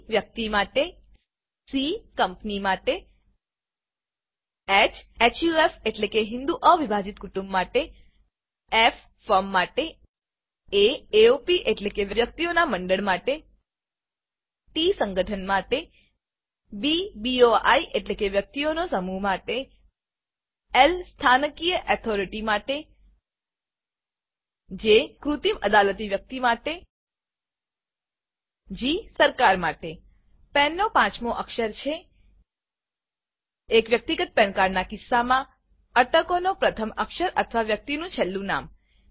Pવ્યક્તિ માટે C company માટે હ હફ એટલેકે હિંદુ અ વિભાજીત કુટુંબ માટે Fફર્મ માટે એ એઓપી એટલેકે વ્યક્તિઓના મંડળ માટે ટી સંગઠન માટે બી બોઈ એટલેકે વ્યક્તિઓનો સમૂહ માટે Lસ્થાનિક ઓથોરિટી માટે જે કૃત્રિમ અદાલતી વ્યક્તિ અને માટે જી સરકાર માટે પાન પેન નો પાંચમો અક્ષર છે એક વ્યક્તિગત પાન cardપેન કાર્ડના કિસ્સામાં અટકનો પ્રથમ અક્ષર અથવા વ્યક્તિનું છેલ્લું નામ